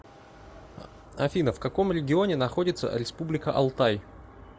афина в каком регионе находится республика алтай